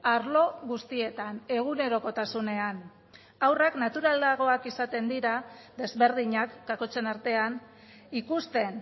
arlo guztietan egunerokotasunean ahurrak naturalagoak izaten dira desberdinak kakotzen artean ikusten